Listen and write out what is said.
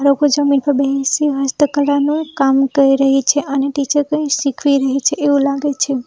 લોકો જમીન પર બેહસી હસ્તકલાનું કામ કરી રહી છે અને ટીચર કંઈ શીખવી રહી છે એવું લાગે છે.